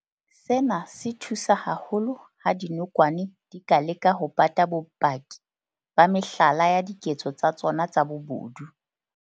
Sena se thusa haholo ha dinokwane di ka leka ho pata bopaki ba mehlala ya diketso tsa tsona tsa bobodu.